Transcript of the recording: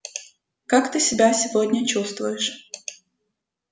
как ты себя сегодня чувствуешь